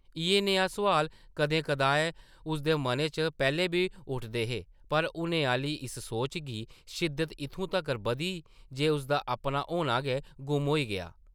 इʼयै नेह् सोआल कदें-कदाएं उसदे मनै च पैह्लें बी उठदे हे पर हुनै आह्ली इस सोच दी शिद्दत इत्थूं तगर बधी जे उसदा अपना ‘होना’ गै गुम होई गेआ ।